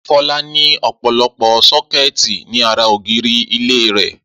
Fọlá ní ọ̀pọ̀lọpọ̀ sọ́kẹ́tì ní ara ògiri ilé rẹ̀.